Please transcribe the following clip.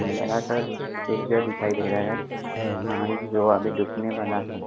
लगातार दिखाई दे रहा है और जो आगे जुकने वाला है।